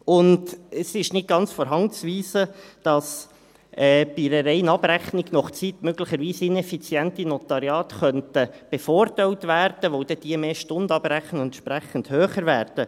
Und es ist nicht ganz von der Hand zu weisen, dass bei einer reinen Abrechnung nach Zeit inneffiziente Notariate möglicherweise bevorteilt werden könnten, weil diese mehr Stunden abrechnen und entsprechend höher werden.